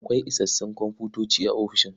Akwai isassun komfutoci a ofishin.